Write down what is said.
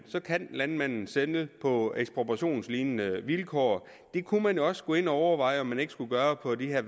så kan landmanden sælge på ekspropriationslignende vilkår det kunne man også gå ind og overveje om man ikke skulle gøre på de her